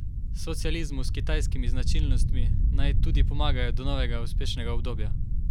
Socializmu s kitajskimi značilnostmi naj tudi pomagajo do novega uspešnega obdobja.